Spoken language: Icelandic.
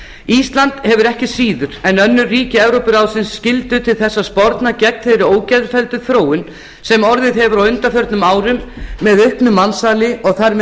ísland hefur ekki síður en önnur ríki evrópuráðsins skyldu til þess að sporna gegn þeirri ógeðfelldu þróun sem orðið hefur á undanförnum árum með auknu mansali og þar með